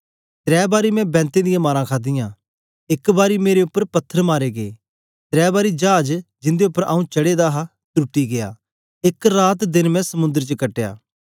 त्रै बारी मैं बेंतें दियां मारां खादियां एक बारी मेरे उपर पत्थर मारे गै त्रै बारी चाज जिंदे उपर आंऊँ चढ़े दा हा त्रुटी गै एक रात देन मैं समुंद्र च कटया